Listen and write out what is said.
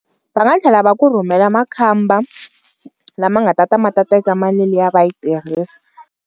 Va nga tlhela va ku rhumela makhamba lama nga ta ta ma ta teka mali liya va yi tirhisa.